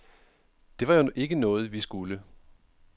Det var jo ikke noget, vi skulle.